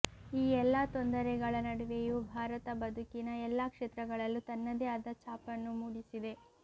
ಈ ಎಲ್ಲಾ ತೊಂದರೆಗಳ ನಡುವೆಯೂ ಭಾರತ ಬದುಕಿನ ಎಲ್ಲಾ ಕ್ಷೇತ್ರಗಳಲ್ಲೂ ತನ್ನದೇ ಆದ ಛಾಪನ್ನು ಮೂಡಿಸಿದೆ